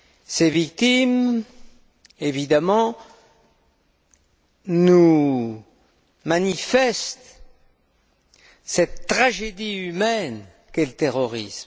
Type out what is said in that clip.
Ces victimes, évidemment, nous manifestent cette tragédie humaine qu'est le terrorisme.